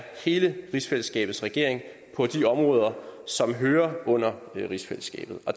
hele rigsfællesskabets regering på de områder som hører under rigsfællesskabet